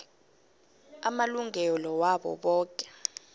amalungelo wabo boke